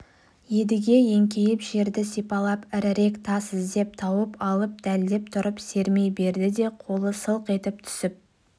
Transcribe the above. едіге еңкейіп жерді сипалап ірірек тас іздеп тауып алып дәлдеп тұрып сермей берді де қолы сылқ етіп түсіп